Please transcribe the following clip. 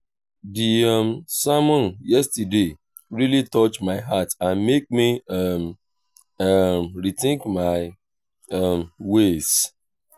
di um sermon yesterday really touch my heart and make me um um rethink my um ways.